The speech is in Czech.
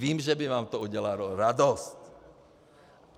Vím, že by vám to udělalo radost.